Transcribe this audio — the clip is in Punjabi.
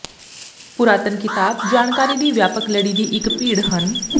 ਪੁਰਾਤਨ ਿਕਤਾਬ ਜਾਣਕਾਰੀ ਦੀ ਵਿਆਪਕ ਲੜੀ ਦੀ ਇੱਕ ਭੀੜ ਹਨ